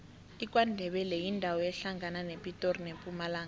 ikwandebele yindawo ehlangana nepitori nempumalanga